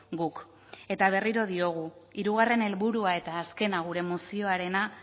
guk eta berriro diogu hirugarren helburua eta azkena gure mozioarena